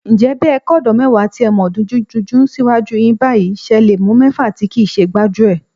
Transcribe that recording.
Ǹjẹ́ bẹ́ ẹ kọ́dọ̀ọ́ mẹ́wàá tí ẹ mọ̀ dunjúdunjú síwájú yín báyìí, ṣẹ le mú mẹ́fà tí kìí ṣe gbájúẹ̀?